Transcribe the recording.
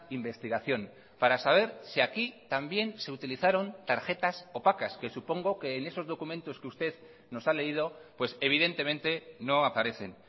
investigación para saber si aquí también se utilizaron tarjetas opacas que supongo que en esos documentos que usted nos ha leído pues evidentemente no aparecen